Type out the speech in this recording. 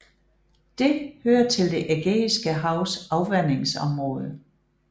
Det hører til det Ægæiske Havs afvandingsområde